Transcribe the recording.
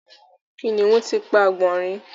Kìnìún ti pa àgbònrín